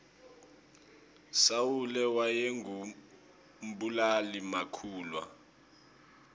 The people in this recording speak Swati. sawule wayengu mbulali makhulwa